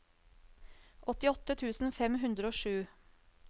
åttiåtte tusen fem hundre og sju